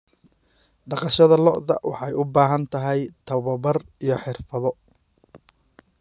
Dhaqashada lo'da lo'da waxay u baahan tahay tababar iyo xirfado.